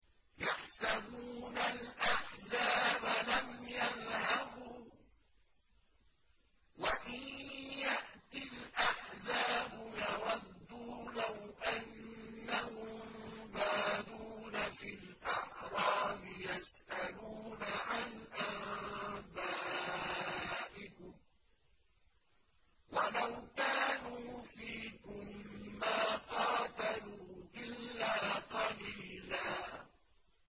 يَحْسَبُونَ الْأَحْزَابَ لَمْ يَذْهَبُوا ۖ وَإِن يَأْتِ الْأَحْزَابُ يَوَدُّوا لَوْ أَنَّهُم بَادُونَ فِي الْأَعْرَابِ يَسْأَلُونَ عَنْ أَنبَائِكُمْ ۖ وَلَوْ كَانُوا فِيكُم مَّا قَاتَلُوا إِلَّا قَلِيلًا